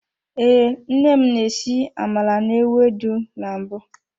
Ee, nne m na-esi amala na-ewedu na mbụ.